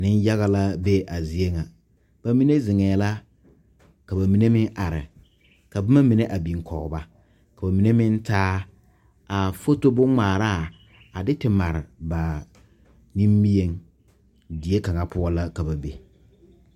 Nenyaga la be a zie ŋa ba mine zeŋɛɛ la ka ba mine meŋ are ka boma mine a biŋ kɔge ba ka ba mine meŋ taa a foto bonŋmaaraa a de te mare ba nimieŋ die kaŋa poɔ la ka ba be.